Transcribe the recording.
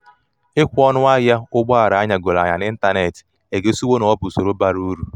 ikwe ọṅụ ahịa ụgbọ ala anyagoro anya n'ịntanetị egosiwo na ọ bụ usoro bara bụ usoro bara uru